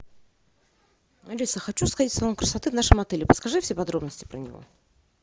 алиса хочу сходить в салон красоты в нашем отеле подскажи все подробности про него